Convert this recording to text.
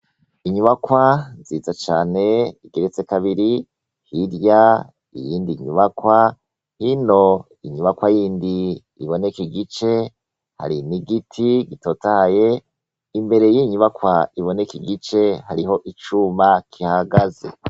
Inyubakwa nziza cane igeretse kabiri hirya iyindi inyubakwa hino inyubakwa y'indi iboneke igice hari n'i igiti gitotahye imbere y'inyubakwa iboneke igice hariho icuma kihagaze.